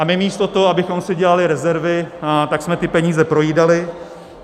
A my místo toho, abychom si dělali rezervy, tak jsme ty peníze projídali.